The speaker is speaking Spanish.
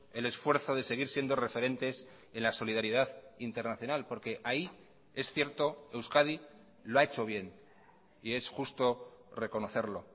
el esfuerzo de seguir siendo referentes en la solidaridad internacional porque ahí es cierto euskadi lo ha hecho bien y es justo reconocerlo